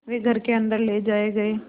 वे घर के अन्दर ले जाए गए